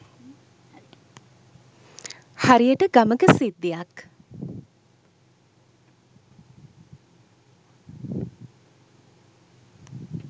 හරියට ගමක සිද්ධියක්